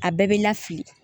A bɛɛ bɛ na fili